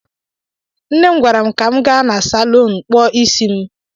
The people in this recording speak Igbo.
Nne m gwara m ka m gaa na salọn kpụọ is kpụọ isi m.